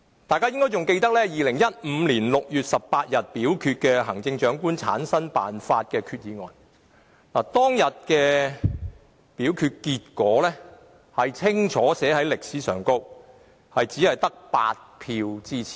大家應該還記得，在2015年6月18日就行政長官產生辦法的決議案進行表決時，表決結果已清楚記入歷史裏，當時只得8票支持。